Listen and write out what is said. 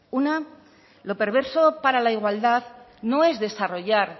una lo perverso para la igualdad no es desarrollar